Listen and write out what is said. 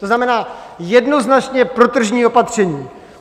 To znamená jednoznačně protržní opatření.